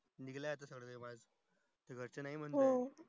निगले आजी थोड्या वेळात जायला घरचे नाही म्हणतात